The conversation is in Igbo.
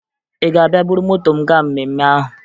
Ị ga-abịa buru moto m gaa mmemme ahụ?